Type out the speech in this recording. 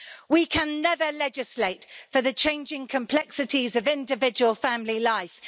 We can never legislate for the changing complexities of individual family life.